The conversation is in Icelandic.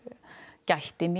gætti mín